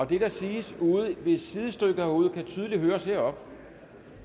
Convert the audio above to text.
det der siges i sidestykket herude kan tydeligt høres heroppe